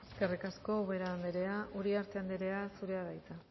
eskerrik asko ubera andrea uriarte andrea zurea da hitza